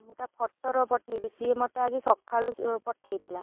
ମୁଁ ତା photo ରହ ପଠେଇବି ସିଏ ମତେ ଆଜି ସଖାଳୁ ପଠେଇଥିଲା।